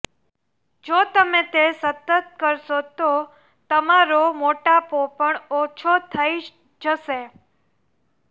જો તમે તે સતત કરશો તો તમારો મોટાપો પણ ઓછો થઇ જશે